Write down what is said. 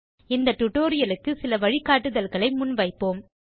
இந்த டியூட்டோரியல் க்குச் சில வழிகாட்டுதல்களை முன் வைப்போம்